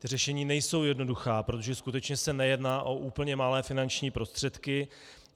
Ta řešení nejsou jednoduchá, protože skutečně se nejedná o úplně malé finanční prostředky.